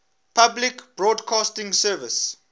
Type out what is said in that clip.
public broadcasting service